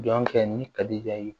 Jɔn kɛ ni kadijigɛ ye